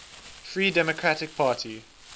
free democratic party